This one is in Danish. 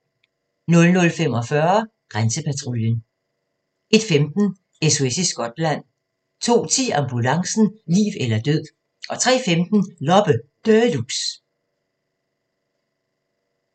00:45: Grænsepatruljen 01:15: SOS i Skotland 02:10: Ambulancen - liv eller død 03:15: Loppe Deluxe